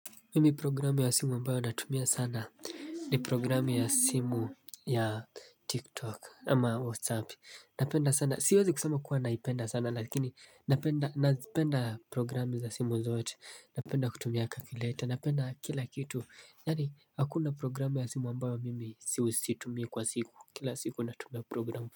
Mimi programu ya simu ambayo natumia sana ni programu ya simu ya TikTok ama WhatsApp napenda sana siwezi kusema kuwa naipenda sana lakini napenda programu za simu zote napenda kutumia calculator napenda kila kitu yaani hakuna programu ya simu ambayo mimi situmii kwa siku kila siku natumia programu.